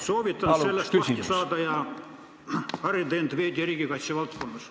Soovitan sellest lahti saada ja harida end veidi riigikaitse valdkonnas.